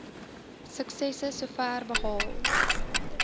suksesse sover behaal